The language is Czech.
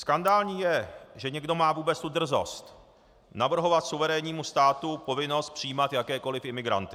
Skandální je, že někdo má vůbec tu drzost navrhovat suverénnímu státu povinnost přijímat jakékoliv imigranty.